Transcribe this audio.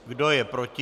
Kdo je proti?